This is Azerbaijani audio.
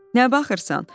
Nə baxırsan?